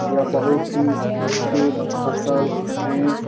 यह बहुत ही अच्छे फसल है।